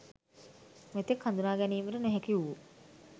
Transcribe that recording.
මෙතෙක් හඳුනා ගැනීමට නොහැකි වු